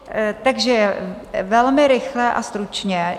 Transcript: Takže velmi rychle a stručně.